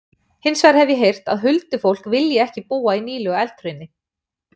Hins vegar hef ég heyrt að huldufólk vilji ekki búa í nýlegu eldhrauni.